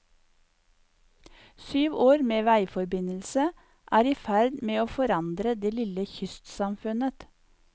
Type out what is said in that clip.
Syv år med veiforbindelse er i ferd med å forandre det lille kystsamfunnet.